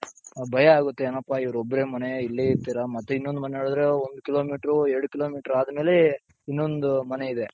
ಭಯ ಆಗುತ್ತೆ ಏನಪ್ಪ ಇವ್ರೊಬ್ರೆ ಮನೆ ಇಲ್ಲೇ ಇರ್ತೀರಾ ಮತ್ತೆ ಇನ್ನೊಂದ್ ಮನೆ ನೋಡುದ್ರೆ ಒಂದ್ ಕಿಲೋಮೀಟರು ಎರಡ್ ಕಿಲೋಮೀಟರು ಆದ್ಮೇಲೆ ಇನ್ನೊಂದು ಮನೆ ಇದೆ.